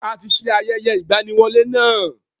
A ti ṣe ayẹyẹ ìgbaniwọlé náà.